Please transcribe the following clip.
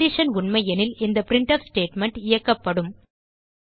condition உண்மையெனில் இந்த printf statement இயக்கப்படும்